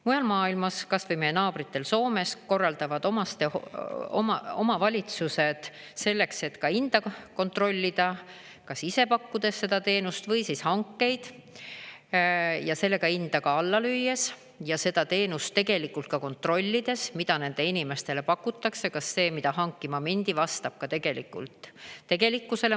Mujal maailmas, kas või meie naabritel Soomes, korraldavad omavalitsused selleks, et hinda kontrollida, kas ise pakkudes seda teenust või siis hankeid ja sellega hinda alla lüües ja seda teenust tegelikult kontrollides, mida nendele inimestele pakutakse, kas see, mida hankima mindi, vastab tegelikult tegelikkusele.